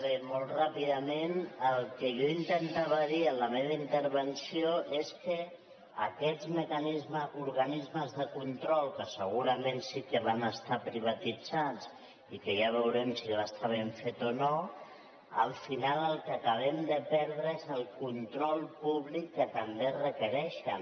bé molt ràpidament el que jo intentava dir en la meva intervenció és que aquests organismes de control que segurament sí que van estar privatitzats i que ja veurem si va estar ben fet o no al final el que acabem de perdre és el control públic que també requereixen